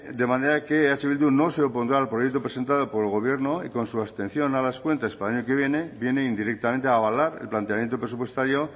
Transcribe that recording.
de manera que eh bildu no se opondrá al proyecto presentado por el gobierno y con su abstención a las cuentas para el año que viene viene indirectamente a avalar el planteamiento presupuestario